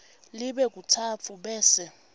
libe katsatfu bese